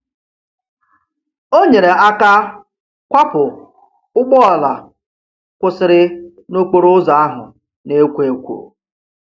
O nyere aka kwapụ ụgbọala kwụsịrị n'okporoụzọ ahụ na-ekwo ekwo.